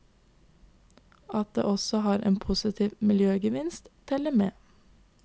At det også har en positiv miljøgevinst, teller med.